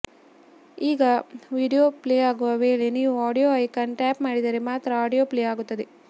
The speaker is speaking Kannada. ಈಗ ವಿಡಿಯೊ ಪ್ಲೇ ಆಗುವ ವೇಳೆ ನೀವು ಆಡಿಯೊ ಐಕಾನ್ ಟ್ಯಾಪ್ ಮಾಡಿದರೆ ಮಾತ್ರ ಆಡಿಯೊ ಪ್ಲೇ ಆಗುತ್ತದೆ